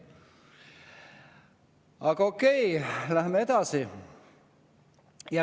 Aga okei, läheme edasi.